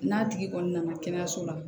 N'a tigi kɔni nana kɛnɛyaso la